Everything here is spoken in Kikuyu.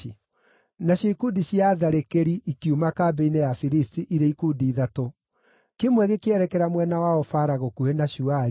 Nacio ikundi cia atharĩkĩri ikiuma kambĩ-inĩ ya Afilisti irĩ ikundi ithatũ. Kĩmwe gĩkĩerekera mwena wa Ofara gũkuhĩ na Shuali,